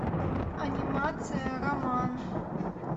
анимация роман